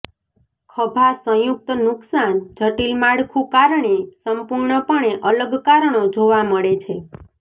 ખભા સંયુક્ત નુકસાન જટિલ માળખું કારણે સંપૂર્ણપણે અલગ કારણો જોવા મળે છે